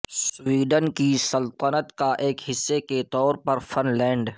Sweden کی سلطنت کا ایک حصہ کے طور پر فن لینڈ